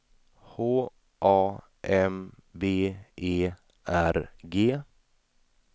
H A M B E R G